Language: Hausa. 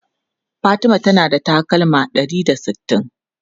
Fatima tana da takalma ɗari da sittin.